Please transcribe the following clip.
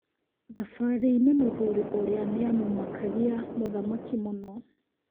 Thabarĩinĩ mũthuri ũrĩa nĩamũmakagia mũthamaki mũno